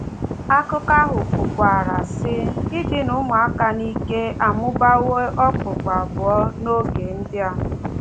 Akụkọ ahụ kwukwara, sị: “Idina ụmụaka n’ike amụbawo okpukpu abụọ n’oge ndị a...”